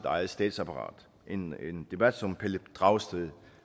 eget statsapparat en debat som pelle dragsted